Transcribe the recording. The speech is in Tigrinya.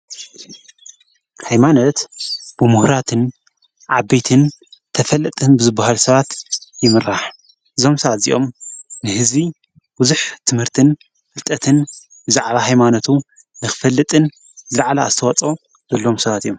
ኃይማነት ብምህራትን ዓበትን ተፈልጥን ብዝቡሃል ሰባት ይምራሕ ።ዞምሳ እዚኦም ንሕዝቢ ውዙኅ ትምህርትን ፍልጠትን ዛዕላ ሕይማኖቱ ንኽፈልጥን ዝለዕላ ኣስተዋጾ በሎዎም ሰባት እዮም።